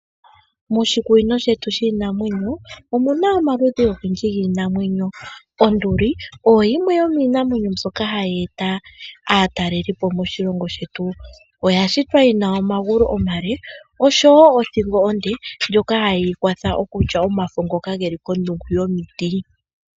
Moshikunino shetu shiinamwenyo omuna omaludhi ogendji giinamwenyo. Onduli oyo yimwe yomiinamwenyo mbyoka hayi eta aatalelipo moshilongo shetu. Oya shitwa yina omagulu omale osho wo othingo onde ndjoka hayi ikwatha okulya omafo ngoka geli pombanda yomiti.